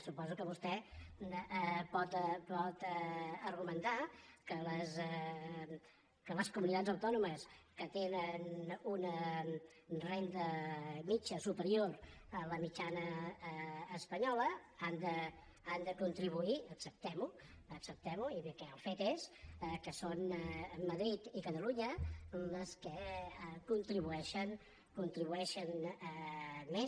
suposo que vostè pot argumentar que les comunitats autònomes que tenen una renda mitjana superior a la mitjana espanyola han de contribuir acceptem ho acceptem ho i bé que el fet és que són madrid i catalunya les que contribueixen més